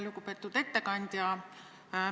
Lugupeetud ettekandja!